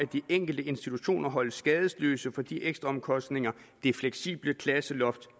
de enkelte institutioner holdes skadesløse for de ekstraomkostninger det fleksible klasseloft